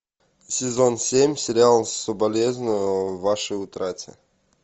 сезон семь сериал соболезную вашей утрате